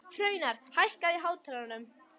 Hraunar, hækkaðu í hátalaranum.